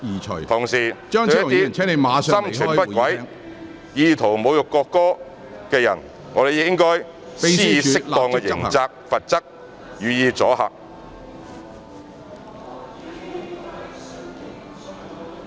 同時，對一些心存不軌、意圖侮辱國歌的人應該施以適當的刑責和罰則，予以阻嚇。